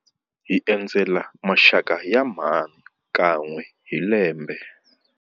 Hi endzela maxaka ya mhani kan'we hi lembe.